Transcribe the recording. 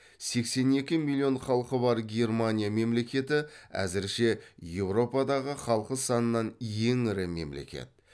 сексен екі миллион халқы бар германия мемлекеті әзірше еуропадағы халқы санынан ең ірі мемлекет